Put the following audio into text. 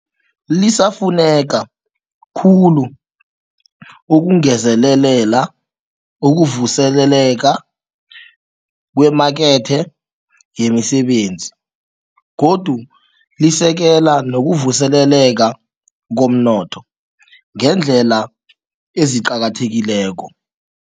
Lisafuneka khulu ukungezelela ukuvuseleleka kwemakethe yemisebenzi. Godu lisekela nokuvuseleleka komnotho ngeendlela eziqakathekileko.